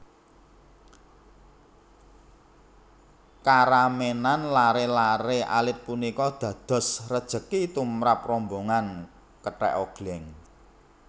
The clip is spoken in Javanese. Karemenan laré laré alit punika dados rejeki tumrap rombongan kethèk ogléng